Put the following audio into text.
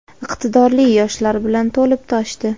iqtidorli yoshlar bilan to‘lib toshdi.